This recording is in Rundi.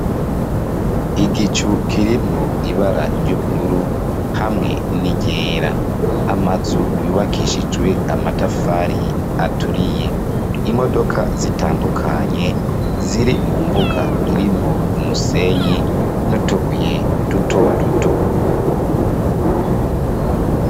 Igicu kirimwo ibara ry'ubururu hamwe n'iryera amazu yubakishijwe amatafari aturiye imodoka zitandukanye ziri mu mbuga irimwo umusenyi n'utubuye dutoduto.